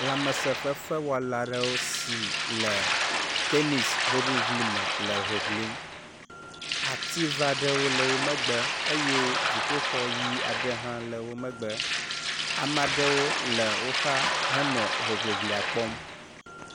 lãmesē fefewɔla aɖewo le tenis hoʋiʋlime le hoʋlim ative aɖewo le wó megbe eye dziƒoxɔ ɣi aɖe hã le wó megbe amaɖewo le wó xa hele hoʋiʋlia kpɔm